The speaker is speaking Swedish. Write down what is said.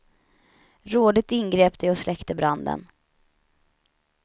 Rådigt ingrep de och släckte branden.